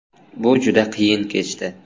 Bu juda qiyin kechdi.